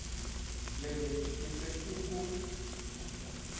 lele ke se ke o